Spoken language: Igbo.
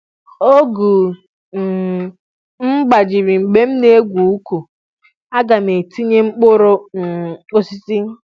ọgụ um m gbajiri mgbe m na-egwu uku a ga e tinye mkpụrụ um osisi